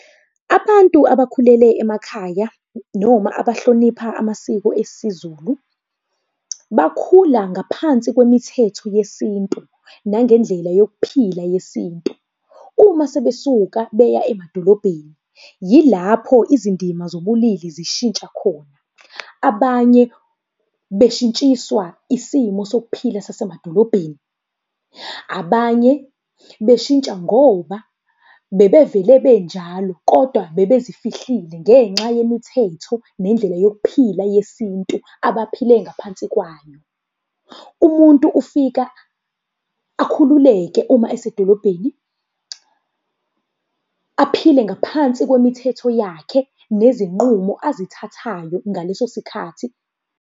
Abantu abakhulele emakhaya, noma abahlonipha amasiko esiZulu, bakhula ngaphansi kwemithetho yeSintu, nangendlela yokuphila yeSintu. Uma sebesuka beya emadolobheni, yilapho izindima zobulili zishintsha khona. Abanye beshintshiswa isimo sokuphila sasemadolobheni, abanye beshintsha ngoba bebevele benjalo, kodwa bebezifihlile ngenxa yemithetho nendlela yokuphila yeSintu abaphile ngaphansi kwayo. Umuntu ufika akhululeke uma esedolobheni. Aphile ngaphansi kwemithetho yakhe nezinqumo azithathayo ngaleso sikhathi.